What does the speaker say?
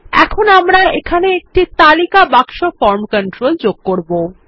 এখন আমরা এখানে একটি তালিকা বাক্স ফরম কন্ট্রোল যোগ করব